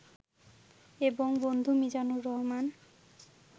এবং বন্ধু মিজানুর রহমান